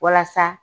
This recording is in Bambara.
Walasa